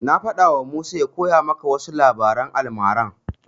Na faɗawa Musa ya koya maka wasu labaran almarar.